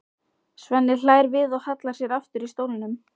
Svenni hlær við og hallar sér aftur í stólnum.